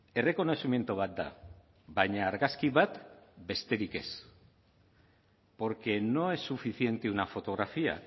errekonozimendu bat da baina argazki bat besterik ez porque no es suficiente una fotografía